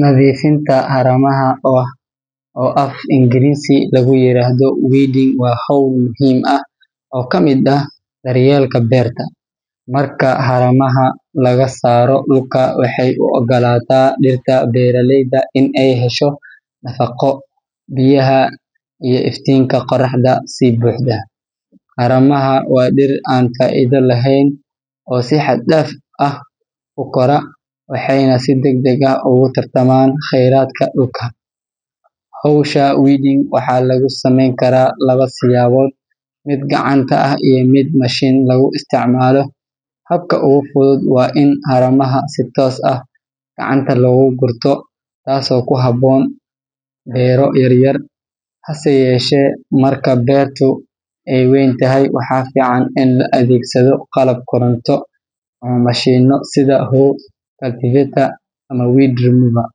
Nadiifinta haramaha, oo af-Ingiriisiga lagu yiraahdo weeding, waa hawl muhiim ah oo ka mid ah daryeelka beerta. Marka haramaha laga saaro dhulka, waxa ay u oggolaataa dhirta beeralayda in ay hesho nafaqo, biyaha iyo iftiinka qorraxda si buuxda. Haramaha waa dhir aan faa’iido lahayn oo si xad dhaaf ah u kora, waxayna si degdeg ah ugu tartamaan kheyraadka dhulka. Hawsha weeding waxaa lagu samayn karaa laba siyaabood: mid gacanta ah iyo mid mashiin lagu isticmaalo. Habka ugu fudud waa in haramaha si toos ah gacanta looga gurto, taasoo ku habboon beero yaryar. Hase yeeshee, marka beertu ay weyn tahay, waxaa fiican in la adeegsado qalab koronto ama mashiinno sida hoe, cultivator, ama weed remover.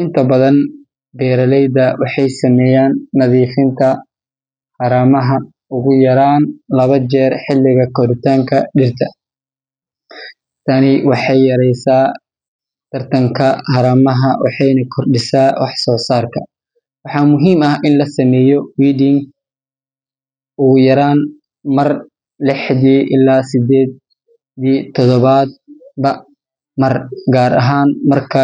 Inta badan, beeraleyda waxay sameeyaan nadiifinta haramaha ugu yaraan labo jeer xilliga koritaanka dhirta. Tani waxay yareysaa tartanka haramaha waxayna kordhisaa waxsoosaarka. Waxaa muhiim ah in la sameeyo weeding ugu yaraan mar lixdii ilaa sideedii toddobaadba mar, gaar ahaan marka.